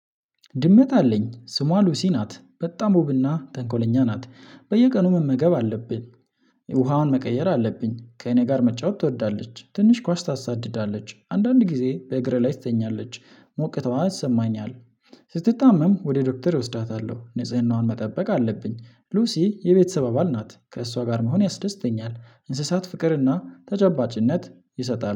ድመት አለኝ ስሟ ሉሲ ናት በጣም ወብና ጠንኮለኛ ናት በየቀኑ መመገብ አለብኝ። የውሃውን መቀየር አለብኝ ከእኔ ጋር መጫወት ትወዳለች ትንሽ ኳስ ታሳድዳለች አንዳንድ ጊዜ በእግሬ ላይ ትተኛለች ሞቅታዋ ሰማኝኛል። ስትታመም ወደ ዶክተር እወስዳታለሁ ንጽህዋን መጠበቅ አለብኝ ሉሲ የቤተሰብ አባል ናት ከእሷ ጋር መሆን ያስደስተኛል። እንስሳት ፍቅርና ተጨባጭነት ይሰጣሉ